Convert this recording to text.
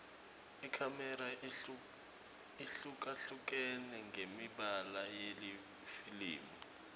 ikhamera ihlukahlukene ngemibala yelifilimu